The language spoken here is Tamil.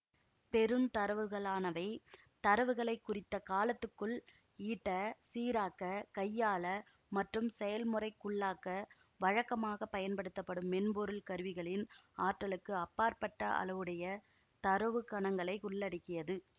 பெருந்தரவுகளானவை தரவுகளைக் குறித்த காலத்துக்குள் ஈட்ட சீராக்க கையாள மற்றும்செயல்முறைக்குள்ளாக்க வழக்கமாக பயன்படுத்தப்படும் மென்பொருள் கருவிகளின் ஆற்றலுக்கு அப்பாற்பட்ட அளவுடைய தரவுக் கணங்களை உள்ளடக்கியது